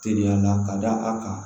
Teliya la ka da a kan